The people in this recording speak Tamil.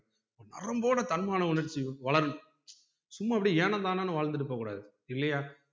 நரம்போடு தன்மான உணர்ச்சி வளரனும் சும்மா அப்டியே ஏனோதானோனு வாழ்ந்துட்டு போக கூடாது இல்லையா